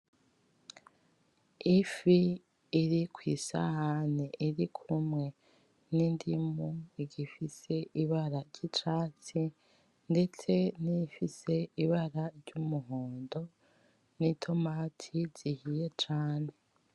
Ifi iri kwisahane iri kumwe n'indimu igifise ibara ry'icatsi ndetse nifise ibara ry'umuhondo n'itomate zihiye cane.